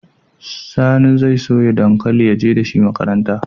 Sani zai soya dankali ya je makaranta dashi